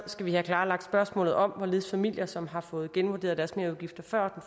skal vi have klarlagt spørgsmålet om hvorledes familier som har fået genvurderet deres merudgifter før